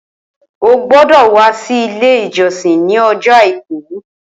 Ó gbọdọ wà si ilé ijọsin ni ọjọ áikù